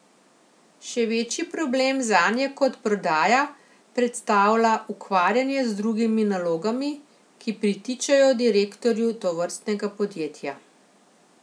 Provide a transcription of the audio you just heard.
Še večji problem zanje kot prodaja, predstavlja ukvarjanje z drugimi nalogami, ki pritičejo direktorju tovrstnega podjetja.